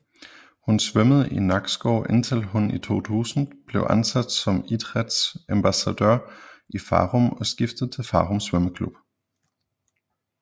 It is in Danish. Hun svømmede i Nakskov indtil hun i 2000 blev ansat som idrætsambassadør i Farum og skiftede til Farum Svømmeklub